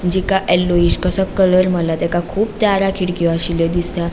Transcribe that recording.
जिका येलोईश कसो कलर मारला तेका कुब दारा खीड़क्यो आशिल्लो दिसता.